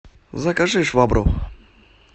закажи швабру